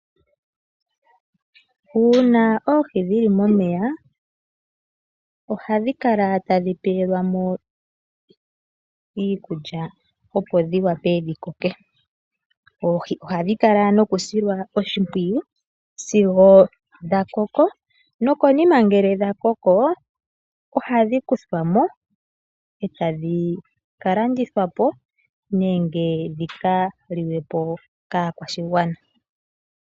Uuna oohi dhili mo meya ohadhi kala tadhi tulilwa mo iikulya opo dhi wape dhi koke. Oohi oha dhi kala nokusilwa oshimpwiyu sigo dha koko no konima ngele dha koko oha dhi kuthwamo eta dhi kalandi thwapo nenge dhi ka liwepo kaa kwashigwana.